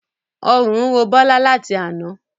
Ọrùn ń ro Bola láti àna